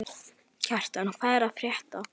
Kjartan, hvað er að frétta?